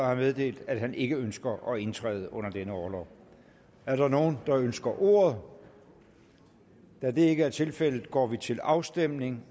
har meddelt at han ikke ønsker at indtræde under denne orlov er der nogen der ønsker ordet da det ikke er tilfældet går vi til afstemning